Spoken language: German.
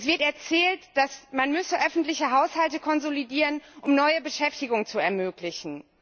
Es wird erzählt, man müsse öffentliche Haushalte konsolidieren, um neue Beschäftigung zu ermöglichen.